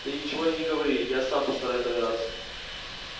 ты ничего и не говори а я сам постараюсь догадаться